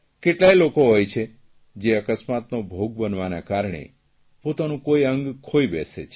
કેટલાય લોકો હોય છે જે અકસ્માતનો ભોગ બનવાના કારણે પોતાનું કોઇ અંગ ખોઇ બેસે છે